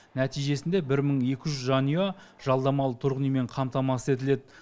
нәтижесінде бір мың екі жүз жанұя жалдамалы тұрғын үймен қамтамасыз етіледі